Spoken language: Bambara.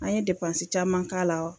An ye depansi caman k'ala wa